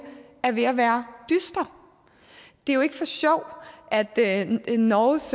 er ved at være dyster det er jo ikke for sjov at norges